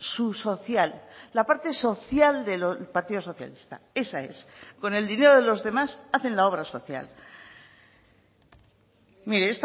su social la parte social del partido socialista esa es con el dinero de los demás hacen la obra social mire